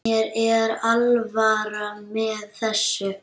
Mér er alvara með þessu.